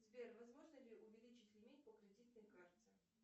сбер возможно ли увеличить лимит по кредитной карте